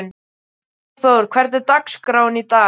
Freyþór, hvernig er dagskráin í dag?